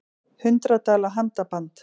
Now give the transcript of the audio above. Hundrað dala handaband